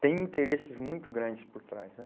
tem interesses muito grandes por trás, né?